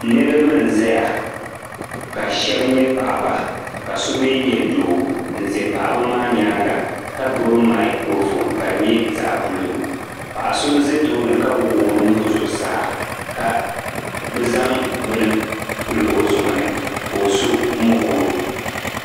Niriba nzaya, ka shɛbi nyɛ paɣiba ka so mi nyɛ doo nze paɣiba maa nyaanga ka gbibi microphone ka di nyɛ zaɣ' blue. Paɣa so nze tooni ka wuɣi o nuhi zuɣusaa ka bi zaŋ bini pili o zuɣu ni, ko'so mokoro.